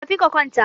tafi ka kwanta!